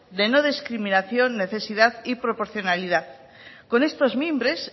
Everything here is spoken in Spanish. de no discriminación necesidad y proporcionalidad con estos mimbres